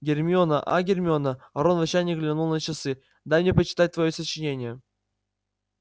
гермиона а гермиона рон в отчаянии глянул на часы дай мне почитать твоё сочинение